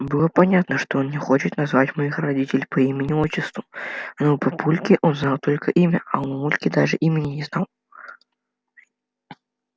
было понятно что он не хочет назвать моих родителей по имени отчеству но у папульки он знал только имя а у мамульки даже имени не знал